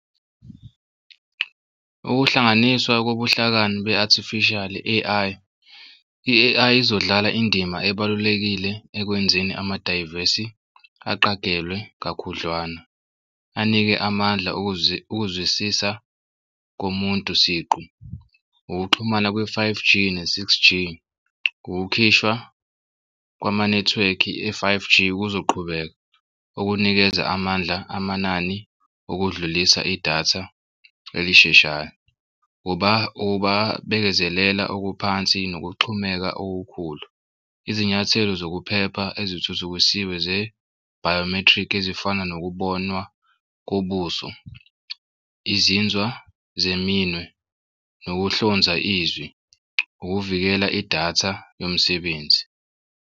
Ukuhlanganiswa kobuhlakani be artificial i-A_I. I-A_I izodlala indima ebalulekile ekwenzeni amadayivesi aqagelwe kakhudlwana, anike amandla ukuzwisisa komuntu siqu ukuxhumana kwe-five G ne-six G. Ukukhishwa kwamanethiwekhi e-five G kuzoqhubeka okunikeza amandla amanani okudlulisa idatha elisheshayo bekezelela okuphansi nokuxhumeka okukhulu. Izinyathelo zokuphepha ezithuthukisiwe ze-biometric ezifana nokubonwa kobuso, izinzwa zeminwe nokuhlonza izwi ukuvikela idatha yomsebenzi.